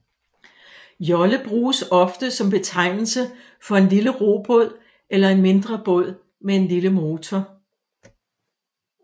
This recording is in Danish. Jolle bruges ofte som betegnelse for en lille robåd eller en mindre båd med en lille motor